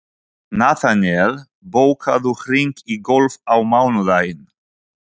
Natanael, bókaðu hring í golf á mánudaginn.